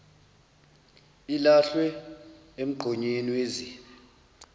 ilahlwe emgqonyeni wezibi